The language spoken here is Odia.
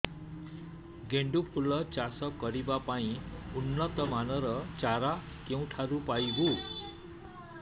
ଗେଣ୍ଡୁ ଫୁଲ ଚାଷ କରିବା ପାଇଁ ଉନ୍ନତ ମାନର ଚାରା କେଉଁଠାରୁ ପାଇବୁ